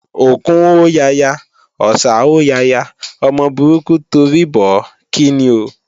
Òkún hó yaya, Ọ̀sà hó yaya, ọmọ burúkú torí bọ̀ ó, kíni ò?